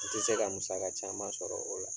I ti se ka musaka caman sɔrɔ o la